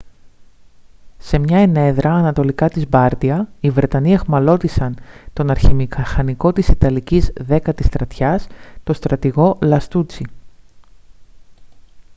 σε μια ενέδρα ανατολικά της μπάρντια οι βρετανοί αιχμαλώτισαν τον αρχιμηχανικό της ιταλικής δέκατης στρατιάς τον στρατηγό λαστούτσι